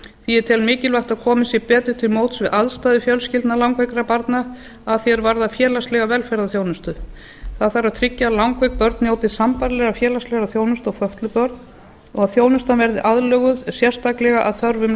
ég tel mikilvægt að komið sé betur til móts við aðstæður fjölskyldna langveikra barna að því er varðar félagslega velferðarþjónustu það þarf að tryggja að langveik börn njóti sambærilegrar félagslegrar þjónustu og fötluð börn og þjónustan verði aðlöguð sérstaklega að þörfum